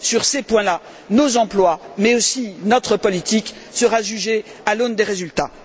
Sur ces points là, nos emplois, mais aussi notre politique, seront jugés à l'aune des résultats.